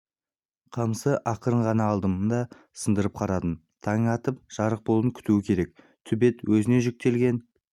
қамысты ақырын ғана алдым да сындырып қарадым таң атып жарық болуын күту керек төбет өзіне жүктелген